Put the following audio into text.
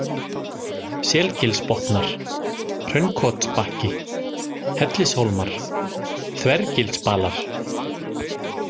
Selgilsbotnar, Hraunkotsbakki, Hellishólmar, Þvergilsbalar